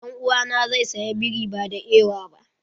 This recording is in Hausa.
Dan'uwa na zai saya biri ba da ewa ba.